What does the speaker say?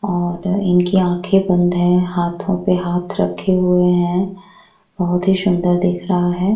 और इनकी आँखें बंद है हाथों पे हाथ रखे हुए है बहुत ही सुंदर दिख रहा है।